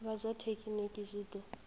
vha zwa thekinini zwi ḓo